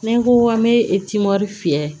Ni n ko an bɛ fiyɛ